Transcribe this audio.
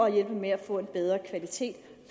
at hjælpe med at få en bedre kvalitet